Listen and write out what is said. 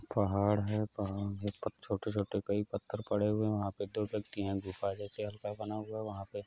पहाड़ है | पहाड़ पर छोटे-छोटे कई पत्थर पड़े हुए है | वहां पर दो व्यक्ति है | गुफा जैसा हल्का बना हुआ है वहा पे --